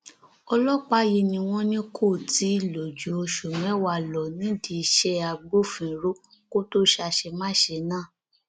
ọlọpàá yìí ni wọn ní kó tì í lò ju oṣù mẹwàá lọ nídìí iṣẹ agbófinró kó tóó ṣàṣemáṣe náà